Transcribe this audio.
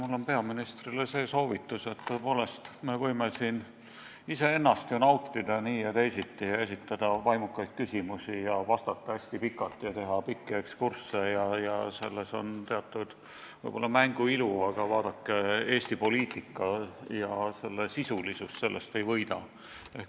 Mul on peaministrile see soovitus, et tõepoolest, me võime siin iseennast nautida nii ja teisiti, esitada vaimukaid küsimusi, vastata hästi pikalt ja teha pikki ekskursse – selles võib olla teatud mängu ilu –, aga vaadake, Eesti poliitika ja selle sisulisus sellest ei võida.